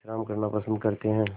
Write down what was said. विश्राम करना पसंद करते हैं